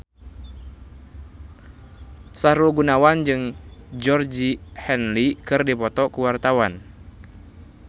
Sahrul Gunawan jeung Georgie Henley keur dipoto ku wartawan